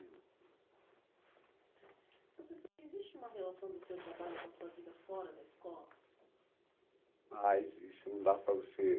ainda. Entendi. Professor, existe uma relação do seu trabalho com a sua vida fora da escola?